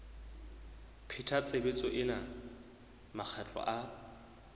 pheta tshebetso ena makgetlo a